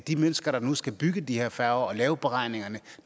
de mennesker der nu skal bygge de her færger og lave beregningerne